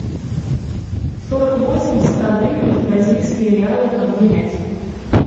сорок восемь ста гривен в бразильские реалы обменять